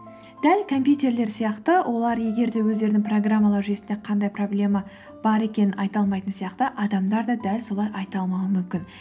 дәл компьютерлер сияқты олар егер де өздерінің программалар жүйесінде қандай проблема бар екенін айта алмайтын сияқты адамдар да дәл солай айта алмауы мүмкін